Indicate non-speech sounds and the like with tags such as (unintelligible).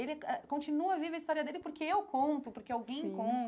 Ele (unintelligible) continua viva a história dele porque eu conto, porque alguém sim